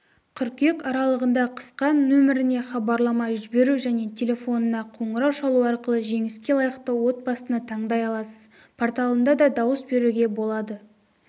қыркүйек аралығында қысқа нөміріне хабарлама жіберу және телефонына қоңырау шалу арқылы жеңіске лайықты отбасыны таңдай аласыз порталында да дауыс беруге болады